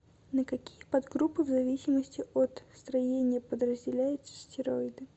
на какие подгруппы в зависимости от строения подразделяются стероиды